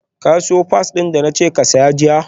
ka siyo pads din da na ce ka saya jiya?